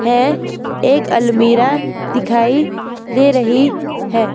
हैं एक अलमीरा दिखाई दे रही हैं।